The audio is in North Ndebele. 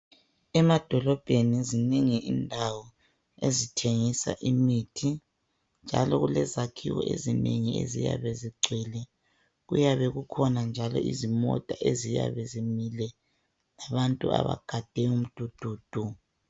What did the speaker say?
Emadolobheni zinengi indawo ezithengisa imithi njalo kulezakhiwo ezinengi eziyabe zigcwele, kuyabekukhona njalo izimota eziyabe zimile labantu abagade umdududu.